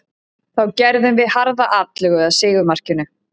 Þá gerðum við harða atlögu að sigurmarkinu.